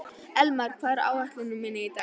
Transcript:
Elmar, hvað er á áætluninni minni í dag?